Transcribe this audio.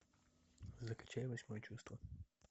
закачай восьмое чувство